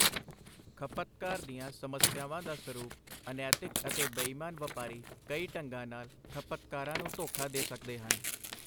ਖਪਤਕਾਰ ਦੀਆਂ ਸਮੱਸਿਆਵਾਂ ਦਾ ਸਰੂਪ ਅਨੈਤਿਕ ਅਤੇ ਬੇਈਮਾਨ ਵਪਾਰੀ ਕਈ ਢੰਗਾਂ ਨਾਲ ਖਪਤਕਾਰਾਂ ਨੂੰ ਧੋਖਾ ਦੇ ਸਕਦੇ ਹਨ।